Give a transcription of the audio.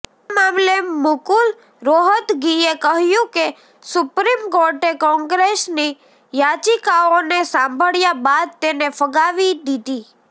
આ મામલે મુકુલ રોહતગીએ કહ્યુ કે સુપ્રિમ કોર્ટે કોંગ્રેસની યાચિકાઓને સાંભળ્યા બાદ તેને ફગાવી દીધી